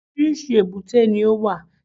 Oríṣìíríṣìí èbúté ni ó wà